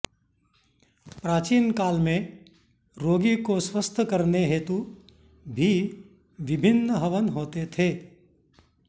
प्राचीन काल में रोगी को स्वस्थ करने हेतु भी विभिन्न हवन होते थे